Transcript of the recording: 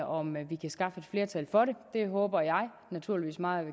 om vi kan skaffe et flertal for det det håber jeg naturligvis meget